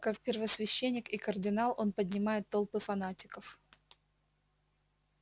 как первосвященник и кардинал он поднимает толпы фанатиков